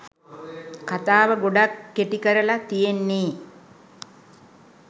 කතාව ගොඩක් කෙටි කරලා තියෙන්නේ.